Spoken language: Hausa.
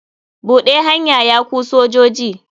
Buɗe hanya ya ku sojoji.